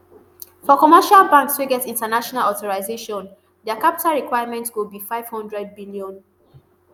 for commercial banks wey get international authorisation dia capital requirement go be nfive hundred billion